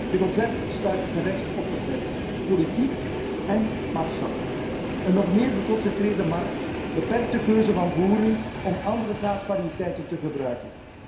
Dit ontwerp stuit terecht op verzet, politiek èn maatschappelijk. Een nog meer geconcentreerde markt beperkt de keuze van boeren om andere zaadvariëteiten te gebruiken.